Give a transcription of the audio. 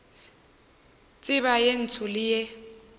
tseba ye ntsho le ye